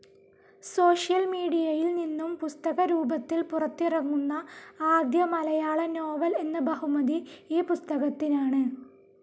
Social മീഡിയയിൽ നിന്നും പുസ്തകരൂപത്തിൽ പുറത്തിറങ്ങുന്ന ആദ്യ മലയാള നോവൽ എന്ന ബഹുമതി ഈ പുസ്തകത്തിനാണ്.